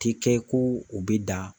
Ti kɛ ko u bɛ da